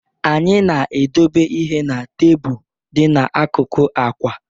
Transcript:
Anyị na-edobe ihe n'tebụl dị n'akụkụ akwa.